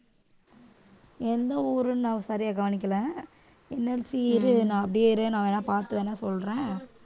எந்த ஊருண்ணா சரியா கவனிக்கலை NLC இரு நான் அப்படியே இரு நான் வேணா பாத்து வேணா சொல்றேன்